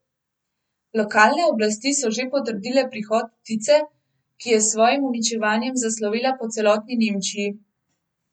Lokalne oblasti so že potrdile prihod ptice, ki je s svojim uničevanjem zaslovela po celotni Nemčiji.